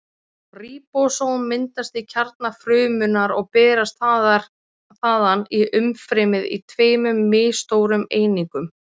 Ríbósóm myndast í kjarna frumunnar og berast þaðan í umfrymið í tveimur misstórum einingum.